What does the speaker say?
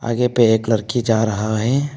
आगे पे एक लड़की जा रहा है।